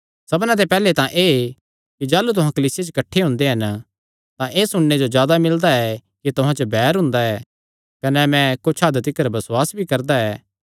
सबना ते पैहल्लैं तां एह़ कि जाह़लू तुहां कलीसिया च किठ्ठे हुंदे हन तां एह़ सुणने जो मिलदा ऐ कि तुहां च बैर हुंदा ऐ कने मैं कुच्छ हद तिकर बसुआस भी करदा ऐ